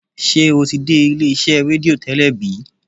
ṣe o ti dé ilé iṣé redio tẹlẹ bi?